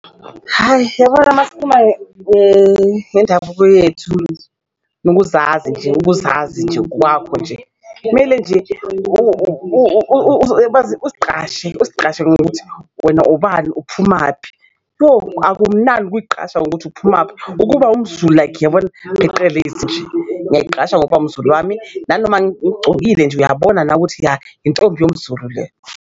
Hhayi yabona masikhuluma ngendabuko yethu, nokuzazi nje ukuzazi nje kwakho nje kumele nje uzigqashe uzigqashe ngokuthi wena ubani uphumaphi, yo akumnandi ukuyigqasha ngokuthi uphumaphi ukuba umZulu like, uyabona? Pheqelezi nje ngiyayigqasha ngokuba umZulu wami nanoma ngigcokile nje uyabona ukuthi ya intombi yomZulu le.